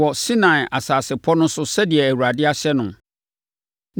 wɔ Sinai asase pɔ no so sɛdeɛ Awurade ahyɛ no.